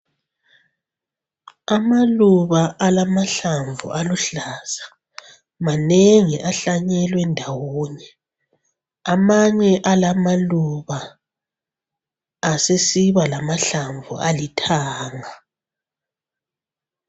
Amaluba alamahlamvu aluhlaza manengi ahlanyelwe ndawonye. Amanye alamaluba asesiba lamahlamvu alithanga.